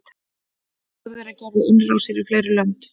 þjóðverjar gerðu innrásir í fleiri lönd